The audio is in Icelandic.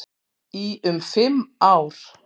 Í um fimm ár.